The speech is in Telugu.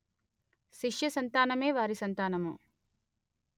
శిష్యసంతానమే వారి సంతానము